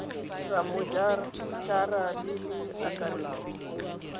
rammo ara le le akaretsang